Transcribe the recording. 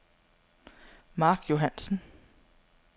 Mark Johannsen